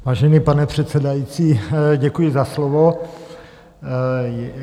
Vážený pane předsedající, děkuji za slovo.